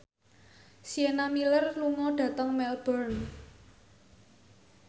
Sienna Miller lunga dhateng Melbourne